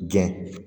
Gɛn